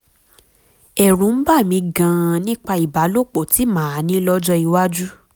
ẹ̀rù ń bà mí gan-an nípa ìbálòpọ̀ tí màá ní lọ́jọ́ iwájú